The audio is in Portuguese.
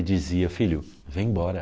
E dizia, filho, vem embora.